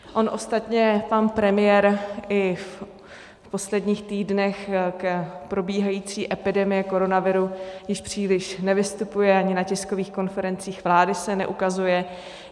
On ostatně pan premiér i v posledních týdnech k probíhající epidemii koronaviru již příliš nevystupuje, ani na tiskových konferencích vlády se neukazuje.